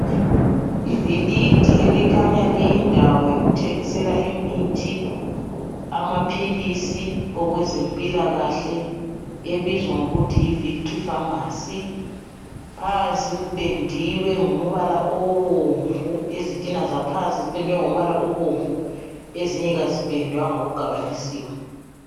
Ibhilidi okukhanya liyindawo yokuthengisela imithi, amaphilisi okwezempilakahle, ebizwa ngokuthi yi'Victory Pharmacy '. Phansi kupendiwe ngombala obomvu, izintina zaphansi ziphendwe ngombala obomvu, ezinye kazipendwanga kugabanisiwe.